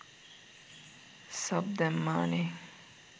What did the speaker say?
Sub දැම්මානෙ.